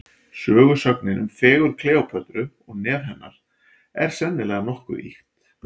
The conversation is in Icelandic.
Sögusögnin um fegurð Kleópötru og nef hennar, er sennilega nokkuð ýkt.